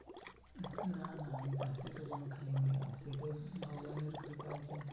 না না আমি খাইনি কিন্তু ভগবানের কৃপায়